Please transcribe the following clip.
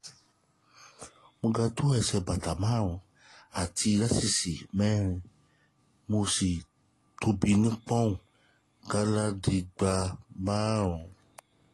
mo ga tó ẹsẹ̀ bàtà márùn-ún àti íńṣíìsì mẹ́sàn-án mo sì tóbi tó pọ́nùn ọ̀tàlénígbá̀lémárùn-ún